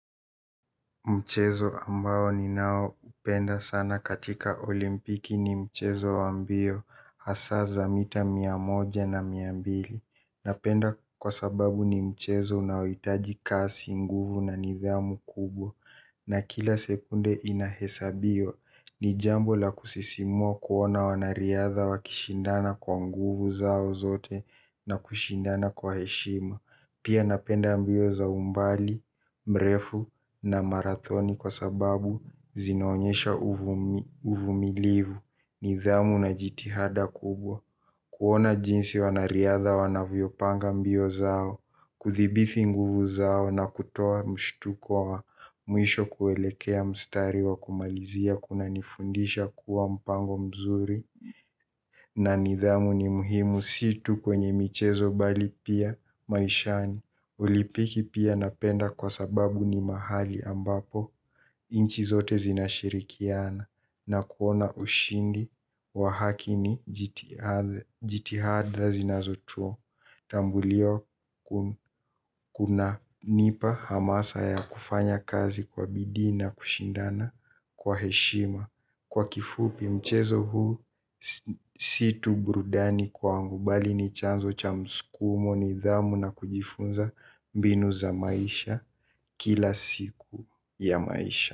Mchezo ambao ninaoupenda sana katika olimpiki ni mchezo wa mbio, hasa za mita mia moja na mia mbili. Napenda kwa sababu ni mchezo unaoitaji kasi, nguvu na nidhamu kubwa. Na kila sekunde inahesabiwa, ni jambo la kusisimua kuona wanariadha wakishindana kwa nguvu zao zote na kushindana kwa heshima. Pia napenda mbio za umbali, mrefu na marathoni kwa sababu, zinaonyesha uvumilivu, nidhamu na jitihada kubwa. Kuona jinsi wanariadha wanavyopanga mbio zao, kuthibithi nguvu zao na kutoa mshtuko wa mwisho kuelekea mstari wa kumalizia kunanifundisha kuwa mpango mzuri. Na nidhamu ni muhimu si tu kwenye michezo, bali pia maishani. Ulipiki pia napenda kwa sababu ni mahali ambapo inchi zote zinashirikiana. Nakuona ushindi wa haki ni jitihada zinazo tu, Tambulio kunanipa hamasa ya kufanya kazi kwa bidii na kushindana kwa heshima, kwa kifupi mchezo huu, si tu burudani kwangu, bali ni chanzo cha mskumo, nidhamu na kujifunza mbinu za maisha kila siku ya maisha.